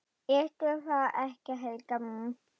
Ertu það ekki, Helga mín?